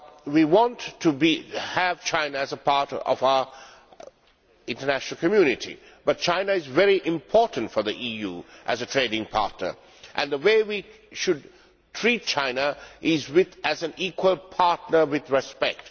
We want to have China as a part of our international community, but China is very important for the EU as a trading partner and the way we should treat China is as an equal partner with respect.